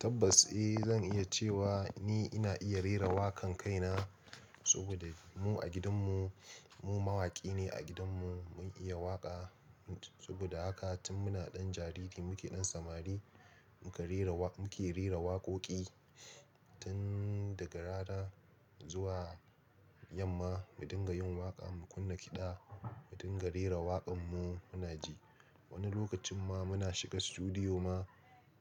Tabbas eh zan iya cewa ni ina iya rera waƙan kaina, saboda mu a gidan mu, mu mawaƙi ne a gidan mu mun iya waƙa. Saboda haka tun muna ɗan jariri muke ɗan samari, muka rera wa muke rera waƙoƙi, tun daga rana zuwa yamma mu dinga yin waƙa, mu kunna kiɗa, mu dinga rera waƙan mu muna ji. Wani lokacin ma muna shiga sutudiyo ma,